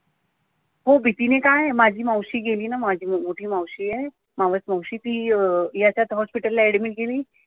हो भीतीने काय माझी मावशी गेली ना माझी मोठी मावशी आहे, मावस मावशी ती अं ती याच्याच hospital ला admit गेली